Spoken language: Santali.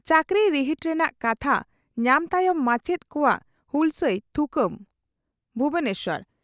ᱪᱟᱠᱨᱤ ᱨᱤᱦᱤᱴ ᱨᱮᱱᱟᱜ ᱠᱟᱛᱷᱟ ᱧᱟᱢ ᱛᱟᱭᱚᱢ ᱢᱟᱪᱮᱛ ᱠᱚᱣᱟᱜ ᱦᱩᱞᱥᱟᱹᱭ ᱛᱷᱩᱠᱟᱹᱢ ᱵᱷᱩᱵᱚᱱᱮᱥᱚᱨ